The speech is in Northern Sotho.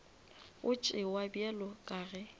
go tšewa bjalo ka ge